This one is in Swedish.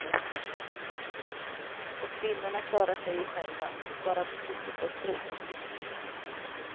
Och kvinnorna klarar sig ju själva, bara de slipper få stryk.